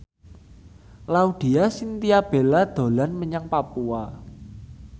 Laudya Chintya Bella dolan menyang Papua